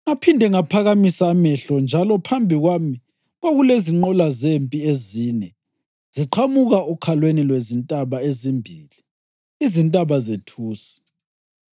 Ngaphinde ngaphakamisa amehlo njalo phambi kwami kwakulezinqola zempi ezine ziqhamuka okhalweni lwezintaba ezimbili, izintaba zethusi!